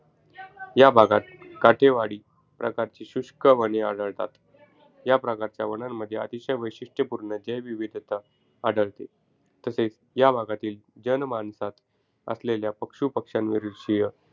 ह्या भागात काठेवाडी प्रकारची शुष्क वने आढळतात. ह्या प्रकारच्या वनांमध्ये अतिशय वैशिट्यपूर्ण जैववैविविधता आढळते. तसेच, या भागातील जनमानसांत असलेल्या पशुपक्ष्यांविषयी विरुधीय,